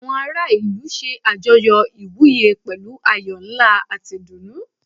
Àwọn ará ìlú ṣe àjọyọ̀ ìwúyè pẹ̀lú ayọ̀ ńlá àti ìdùnnú.